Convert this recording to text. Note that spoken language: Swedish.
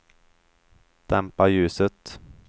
dämpa ljuset